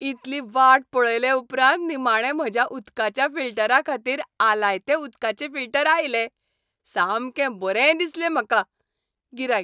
इतली वाट पळयले उपरांत निमाणें म्हज्या उदकाच्या फिल्टराखातीर आलायते उदकाचे फिल्टर आयले. सामकें बरें दिसलें म्हाका. गिरायक